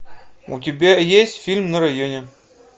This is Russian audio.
у тебя есть фильм на районе